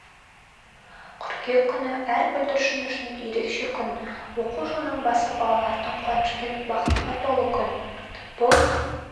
қыркүйек күні әр бүлдіршін үшін ерекше күн оқу жылының басы балалардың қуанышпен бақытқа толы күн бұл